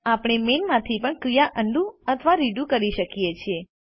આપણે મેઇન માંથી પણ ક્રિયાઓ અન્ડું અથવા રીડુ કરી શકીએ છીએ